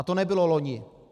A to nebylo loni.